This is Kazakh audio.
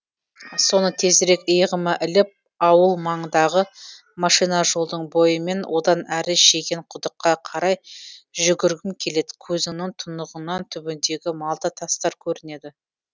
соны тезірек иығыма іліп ауыл маңындағы машина жолдың бойымен одан әрі шеген құдыққа қарай жүгіргім келедкөзіңнің тұнықтығынан түбіндегі малта тастар көрінеді